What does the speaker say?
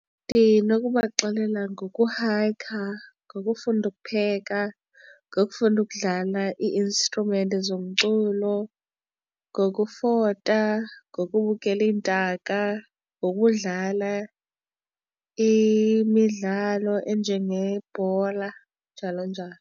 Ndinokuba baxelela ngoku hayikha, ngokufunda ukupheka, ngokufunda ukudlala ii-instrument zomculo, ngokufota ngokubukela iintaka, ngokudlala imidlalo enjengebhola, njalo njalo.